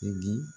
E di